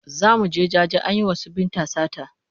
Za mu je jaje an yi wa su Binta sata.